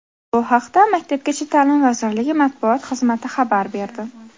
Bu haqda maktabgacha ta’lim vazirligi matbuot xizmati xabar berdi .